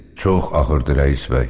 Çox ağırdı rəis bəy.